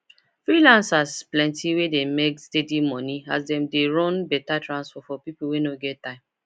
freelancers plenty wey dey make steady money as dem dey run better transport for people wey no get time